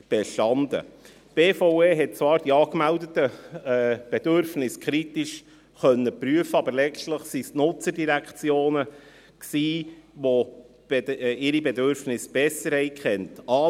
Die BVE konnte die angemeldeten Bedürfnisse zwar kritisch prüfen, aber letztlich waren es die Nutzerdirektionen, welche ihre Bedürfnisse besser kannten.